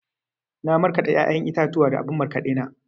Na markaɗa ya'yan itatuwa a abun markaɗe na.